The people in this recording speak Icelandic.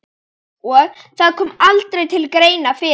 Og það kom aldrei til greina fyrir